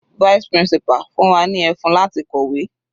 Vice principal fún wa ní ẹfun láti kọ̀wé.